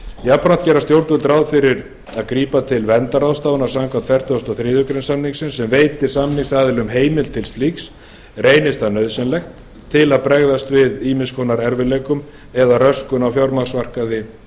jafnframt gera stjórnvöld ráð fyrir að grípa til verndarráðstafana samkvæmt fertugustu og þriðju grein samningsins sem veitir samningsaðilum heimild til slíks reynist það nauðsynlegt til að bregðast við ýmis konar erfiðleikum eða röskun á fjármagnsmarkaði